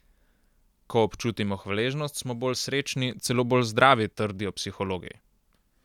Ko občutimo hvaležnost, smo bolj srečni, celo bolj zdravi, trdijo psihologi.